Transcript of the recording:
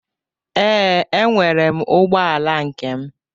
Ee, enwere m ụgbọ ala nkem.